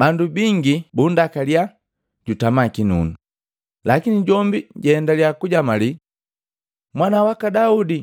Bandu bingi bundakalya jutama kinunu, lakini jombi jaendalya kujamalii, “Mwana waka Daudi,